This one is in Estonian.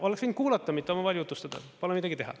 Oleks võinud kuulata, mitte omavahel jutustada, pole midagi teha.